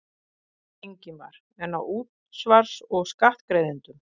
Ingimar: En á útsvars- og skattgreiðendum?